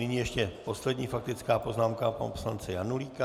Nyní ještě poslední faktická poznámka pana poslance Janulíka.